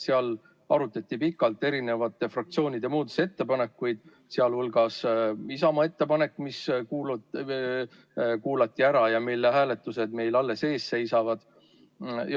Seal arutati pikalt fraktsioonide muudatusettepanekuid, sh Isamaa ettepanekut, mis kuulati ära ja mille hääletused meil alles ees seisavad.